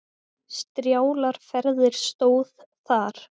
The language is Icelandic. Strjálar ferðir stóð þar.